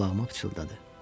Qulağıma pıçıldadı.